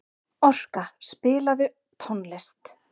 Orka, spilaðu tónlist.